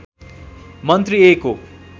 मन्त्री ए को